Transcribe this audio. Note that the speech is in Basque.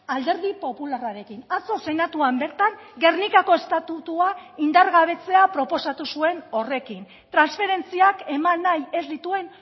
alderdi popularrarekin atzo senatuan bertan gernikako estatutua indargabetzea proposatu zuen horrekin transferentziak eman nahi ez dituen